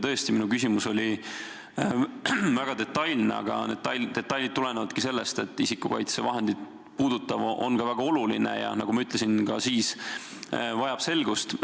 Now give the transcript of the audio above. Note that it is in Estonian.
Tõesti, minu küsimus oli väga detailne, aga detailid tulenevadki sellest, et kõik isikukaitsevahendeid puudutav on ka väga oluline ja, nagu ma juba ütlesin, vajab selgust.